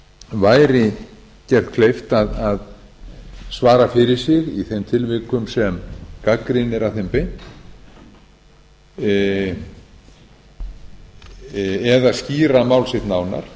væri gert kleift að svara fyrir sig í þeim tilvikum sem gagnrýni er að þeim beint eða skýra mál sitt nánar